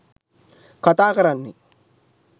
කතා කරන්නේ.